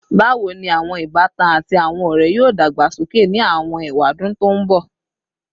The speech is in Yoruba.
Bawo ni awọn ibatan ati awọn ọrẹ yoo dagbasoke ni awọn ewadun to nbọ?